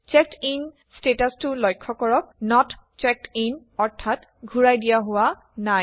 চেকডিন ষ্টেটাচাটো লক্ষ্য কৰক নত চেক্ড ইন অৰ্থাৎ ঘূৰাই দিয়া হোৱা নাই